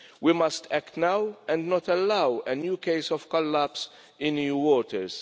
We must act now and not allow a new case of collapse in EU waters.